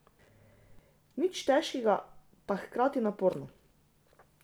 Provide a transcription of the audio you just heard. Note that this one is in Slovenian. Nič težkega, pa hkrati naporno.